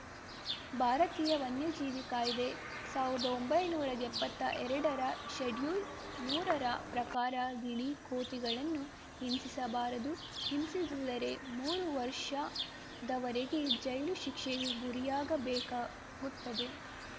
ಭಾರತೀಯ ವನ್ಯಜೀವಿ ಕಾಯ್ದೆ ಸಾವ್ರದ ಒಂಬೈನೂರಾ ಎಪ್ಪತ್ತಾ ಎರಡರ ಶೆಡ್ಯೂಲ್‌ ಮೂರರ ಪ್ರಕಾರ ಗಿಳಿ ಕೋತಿಗಳನ್ನು ಹಿಂಸಿಸಬಾರದು ಹಿಂಸಿಸಿದರೆ ಮೂರು ವರ್ಷದವರೆಗೆ ಜೈಲು ಶಿಕ್ಷೆಗೆ ಗುರಿಯಾಗಬೇಕಾಗುತ್ತದೆ